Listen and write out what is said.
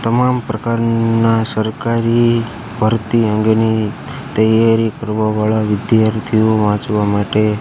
તમામ પ્રકારના સરકારી ભરતી અંગની તૈયારી કરવા વાળા વિધાર્થીઓ વાંચવા માટે--